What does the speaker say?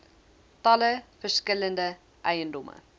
talle verskillende eiendomme